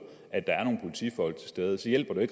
at der er nogle politifolk til stede så hjælper det